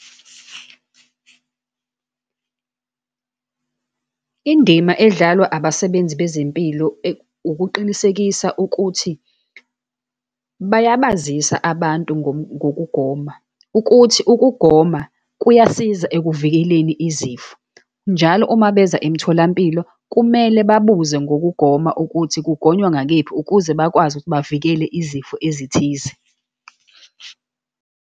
Indima edlalwa abasebenzi bezempilo ukuqinisekisa ukuthi bayabazisa abantu ngokugoma, ukuthi ukugoma kuyasiza ekuvikeleni izifo. Njalo uma beza emtholampilo kumele babuze ngokugoma, ukuthi kugonywa ngakephi, ukuze bakwazi ukuthi bavikele izifo ezithize.